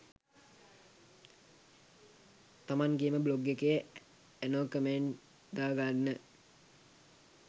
තමන්ගෙම blog එකේ anon comment දා ගන්න?